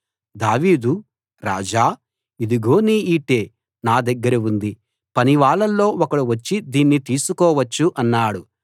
దావీదు రాజా ఇదిగో నీ ఈటె నా దగ్గర ఉంది పనివాళ్ళలో ఒకడు వచ్చి దీన్ని తీసుకోవచ్చు అన్నాడు